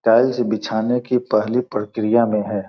Tiles बिछाने की पहली प्रक्रिया में हैं।